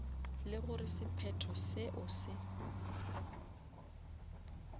le gore sephetho seo se